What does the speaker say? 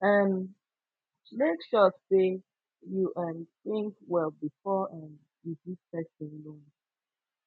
um make sure sey you um tink well bfor um you give pesin loan